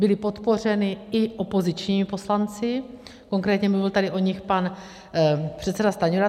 Byly podpořeny i opozičními poslanci, konkrétně mluvil tady o nich pan předseda Stanjura.